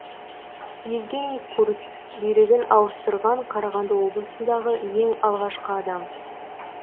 евгений курц бүйрегін ауыстырған қарағанды облысындағы ең алғашқы адам